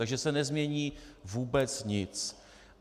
Takže se nezmění vůbec nic.